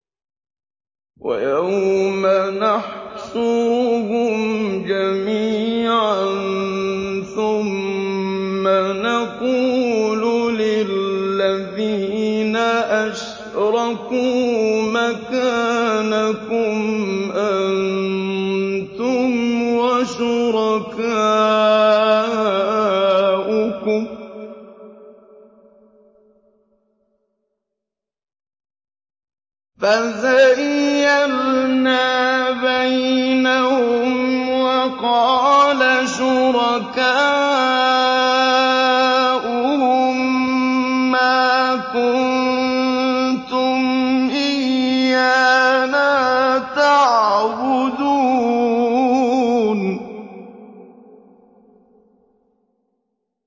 وَيَوْمَ نَحْشُرُهُمْ جَمِيعًا ثُمَّ نَقُولُ لِلَّذِينَ أَشْرَكُوا مَكَانَكُمْ أَنتُمْ وَشُرَكَاؤُكُمْ ۚ فَزَيَّلْنَا بَيْنَهُمْ ۖ وَقَالَ شُرَكَاؤُهُم مَّا كُنتُمْ إِيَّانَا تَعْبُدُونَ